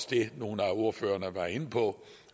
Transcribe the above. det nogle af ordførerne var inde på